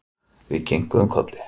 Við kinkuðum kolli.